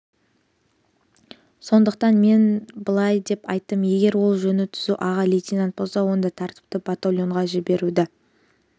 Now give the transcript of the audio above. сондықтан мен былай деп айттым егер ол жөні түзу аға лейтенант болса онда тәртіпті батальонға жіберуді